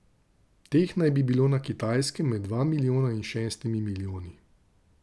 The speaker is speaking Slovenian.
Teh naj bi bilo na Kitajskem med dva milijona in šestimi milijoni.